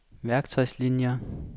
værktøjslinier